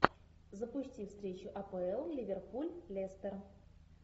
запусти встречу апл ливерпуль лестер